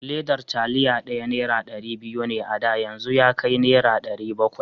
Ledar taliya ɗaya nera ɗari biyu ne a da, yanzu yakai nera ɗari bakwai.